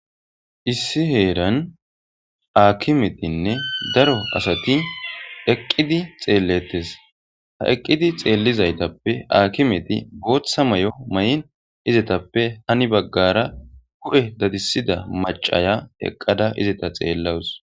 issi heeran aakimetinne daro asati eqqidi xeelletes ha eqqidi xeellizaytappe aakimeti gooththa may7o may7in izetappe hani baggara gu7e dadisida macaya eqqada izeta xeellawus